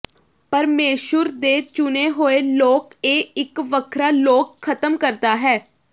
ਪਰਮੇਸ਼ੁਰ ਦੇ ਚੁਣੇ ਹੋਏ ਲੋਕ ਇਹ ਇੱਕ ਵੱਖਰਾ ਲੋਕ ਖਤਮ ਕਰਦਾ ਹੈ